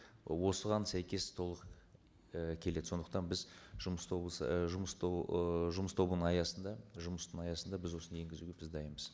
ы осыған сәйкес толық і келеді сондықтан біз жұмыс і жұмыс ыыы жұмыс тобының аясында жұмыстың аясында біз осыны енгізуге біз дайынбыз